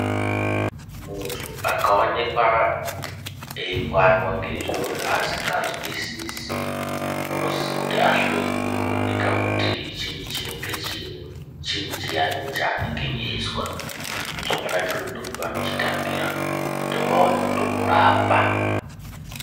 Muntu akawonekwa eyipandwa ngezviro zvaasingazwisisi, unosiso kuti ahloyiwe owoneka kuti chiinyi chinenge cheyi, chiyinyi chiyayo chaanenge eyizwa, zvakanakira kuti ndopavanochitangira kuti vawone kutomurapa.